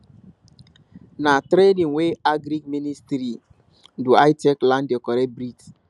na training wey agric ministry do i take learn the correct breeds